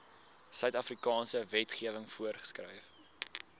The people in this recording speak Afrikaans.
suidafrikaanse wetgewing voorgeskryf